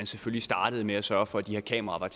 selvfølgelig startede med at sørge for at de her kameraer